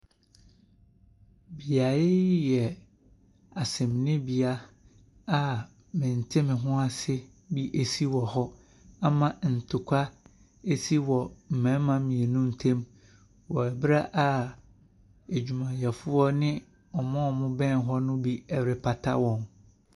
Beaeɛ yi asɛmdibea a mentemehoase bi ɛsi wɔ hɔ ama ntɛkwa ɛsi wɔ mmarima mmienu ntɛm wɔ mmrɛ a adwumayɛfoɔ ne wɔn a ɛbɛn hɔ no bi ɛrepata wɔn.